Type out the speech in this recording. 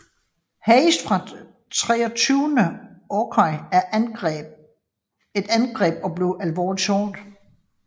Hayes fra 23rd Ohio et angreb og blev alvorligt såret